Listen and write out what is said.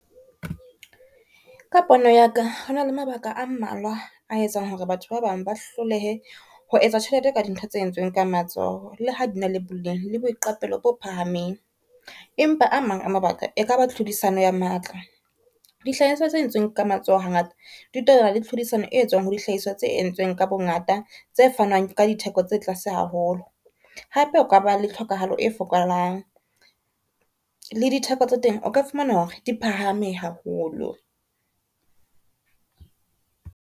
Ka pono ya ka hona le mabaka a mmalwa a etsang hore batho ba bang ba hlolehe ho etsa tjhelete ka dintho tse entsweng ka matsoho, le ha dina le boleng le boiqapelo bo phahameng, empa a mang a mabaka e ka ba tlhodisano ya matla. Dihlahiswa tse entsweng ka matsoho hangata le tlhodisano e etswang ho dihlahiswa tse entsweng ka bongata, tse fanwang ka ditheko tse tlase haholo. Hape o ka ba le tlhokahalo e fokolang le ditheko tsa teng o ka fumana hore di phahame haholo.